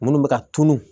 Minnu bɛ ka tunun